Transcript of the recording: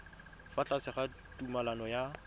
fa tlase ga tumalano ya